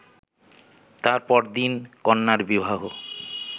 তার পরদিন কন্যার বিবাহ